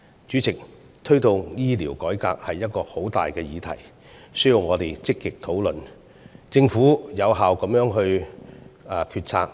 主席，推動醫療改革是一個很大的議題，需要我們積極討論，以及政府作出有效的決策。